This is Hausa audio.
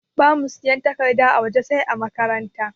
Bamu siyan takarda a waje sai ã makaranta.